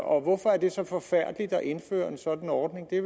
og hvorfor er det så forfærdeligt at indføre en sådan ordning det